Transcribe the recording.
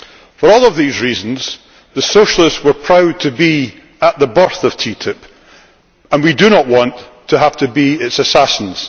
For all of these reasons the Socialists were proud to be at the birth of TTIP, and we do not want to have to be its assassins.